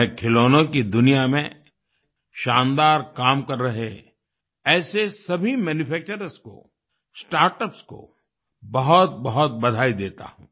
मैं खिलौनों की दुनिया में शानदार काम कर रहे ऐसे सभी मैन्यूफैक्चर्स को स्टार्टअप्स को बहुतबहुत बधाई देता हूँ